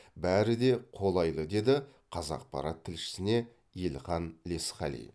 бәрі де қолайлы деді қазақпарат тілшісіне елхан лесқали